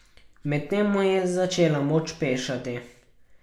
Medtem mu je začela moč pešati.